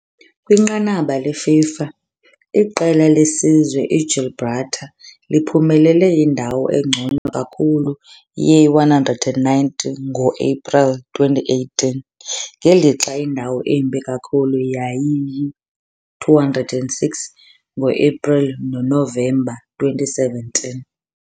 Kwinqanaba leFIFA, iqela lesizwe iGibraltar liphumelele indawo engcono kakhulu ye-190 ngo-Ephreli 2018, ngelixa indawo embi kakhulu yayiyi-206 ngo-Ephreli noNovemba 2017.